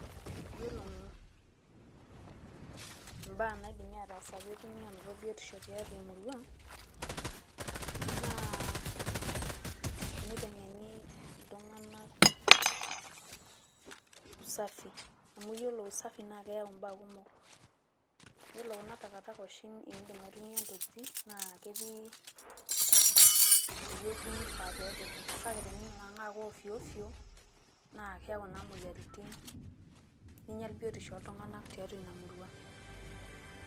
yiolo imbaa naidim atasaaki petumi anoto biotisho tiatua emurua na eniteng'eni iltunganak usafi amu yiolo usafi nakeyau mbaa kumok amu wore oshi kuna takataka oshi nidim aitumia ntokiting' naa ketii ewueji nifaa pepiki naa eninang'aa naa ovyovyo na keyauu na moyiaritin naa kinyall biotisho oltunganak tiatua ina murua